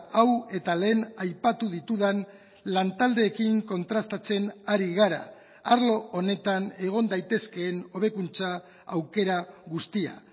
hau eta lehen aipatu ditudan lantaldeekin kontrastatzen ari gara arlo honetan egon daitezkeen hobekuntza aukera guztia